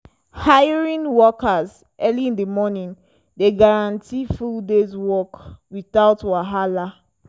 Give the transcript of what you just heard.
hiring workers early in di morning dey guarantee full day’s work without wahala.